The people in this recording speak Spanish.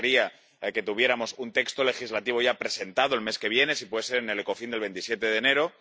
Nos gustaría que tuviéramos un texto legislativo ya presentado el mes que viene, si puede ser en el Ecofin del 27 de enero